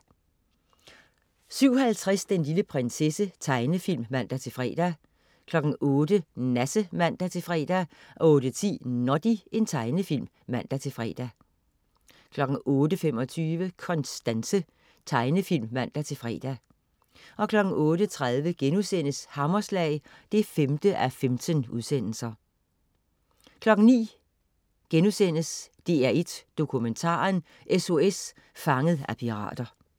07.50 Den lille prinsesse. Tegnefilm (man-fre) 08.00 Nasse (man-fre) 08.10 Noddy. Tegnefilm (man-fre) 08.25 Konstanse. Tegnefilm (man-fre) 08.30 Hammerslag 5:15* 09.00 DR1 Dokumentaren: SOS Fanget af pirater*